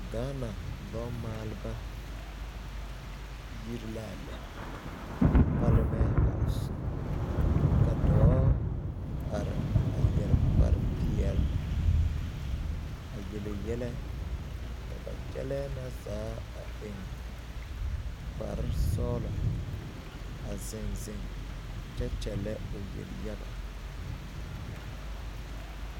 Gaana lɔɔ maaleba yiri la a lɛ palamɛn hææos ka dɔɔ are a yɛre kparpeɛle a yele yɛlɛ ka ba kyɛllɛɛ na zaa a eŋ kparsɔɡelɔ a zeŋ zeŋ kyɛ kyɛllɛ o yelyaɡa.